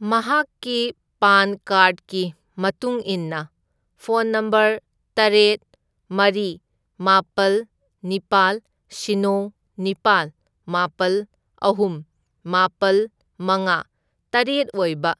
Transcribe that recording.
ꯃꯍꯥꯛꯀꯤ PAN card ꯒꯤ ꯃꯇꯨꯡ ꯏꯟꯅ ꯐꯣꯟ ꯅꯝꯕꯔ ꯇꯔꯦꯠ, ꯃꯔꯤ, ꯃꯥꯄꯜ, ꯅꯤꯄꯥꯜ, ꯁꯤꯅꯣ, ꯅꯤꯄꯥꯜ, ꯃꯥꯄꯜ, ꯑꯍꯨꯝ, ꯃꯥꯄꯜ, ꯃꯉꯥ, ꯇꯔꯦꯠꯑꯣꯏꯕ